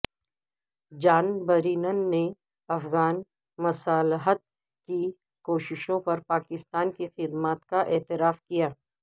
جان Brennan نے افغان مصالحت کی کوششوں پر پاکستان کی خدمات کا اعتراف کیا